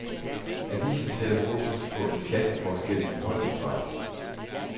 Avisen sætter fokus på en klasseforskel i holdidræt.